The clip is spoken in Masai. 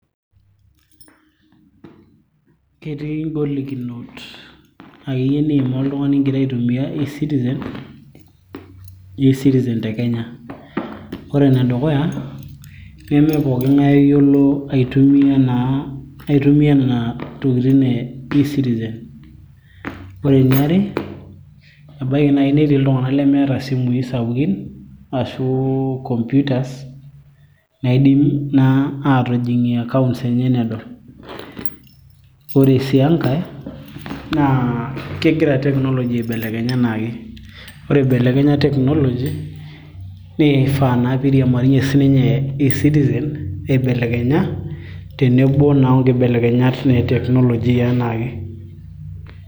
ketii ingolikinot akeyie niimaa oltung'ani ingira aitumia e citizen te kenya ore enedukuya nemepoking'ae oyiolo aitumia naa aitumia nena tokitin e ecitizen ore eniare ebaiki naaji netii iltung'anak lemeeta isimui sapukin ashu computers naidim naa aatijing'ie accounts enye nedol ore sii enkae naa kegira technology aibelekenya enaake ore ibelekenya technology nifaa naa piiriamariyie sinye e citizen aibelekenya tenebo naa onkibelekenyat naa e technology yianaake.